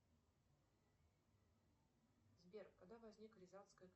сбер когда возник рязанская